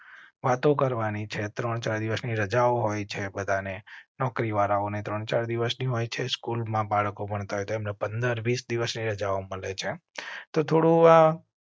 વાતો કરવાની છે. ત્રણ ચાર દિવસની રજા હોય છે બધા ને નોકરી વાળાઓને ત્રણ ચાર દિવસ ની હોય છે. સ્કૂલ માં બાળકો ભણ તા હોય તેમને પંદર વીસ દિવસ ની રજાઓ મળે છે તો થોડુ આ